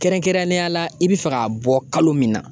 Kɛrɛnkɛrɛnnenya la i bɛ fɛ k'a bɔ kalo min na